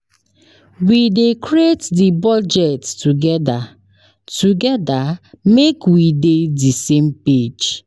We dey create di budget togeda togeda make we dey di same page.